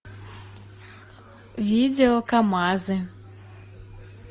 видео камазы